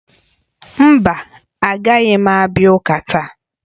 Mba, agaghị m abịa ụka taa